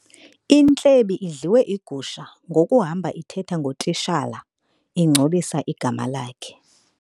Intlebi idliwe igusha ngokuhamba ithetha ngotitshala ingcolisa igama lakhe.